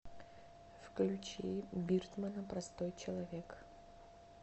включи биртмана простой человек